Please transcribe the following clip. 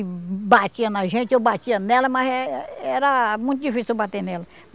E batia na gente, eu batia nela, mas era muito difícil eu bater nela.